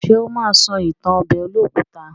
Ṣé ó ma sọ ìtàn ọbẹ̀ olókùta?